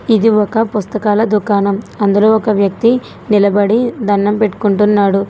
ఇది ఒక పుస్తకాల దుకాణం అందులో ఒక వ్యక్తి నిలబడి దండం పెట్టుకుంటున్నాడు.